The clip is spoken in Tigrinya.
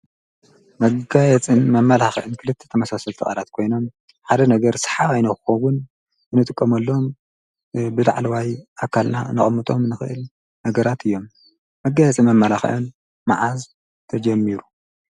መጋየፅን መማላክዕን ክልተ ተመሳሰልቲ ቃላት ኮይኖም ሓደ ነገር ሰሓባይ ንክኸውን እንጥቀመሎም ብላዕለዋይ አካልና እንጥቀመሎም ነገራት እዮም። መጋየፅን መመላክዕን መዓስ ተጀሚሩ?